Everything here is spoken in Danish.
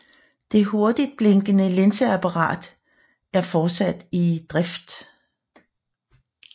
Det hurtigtblinkende linseapparatet er fortsat i drift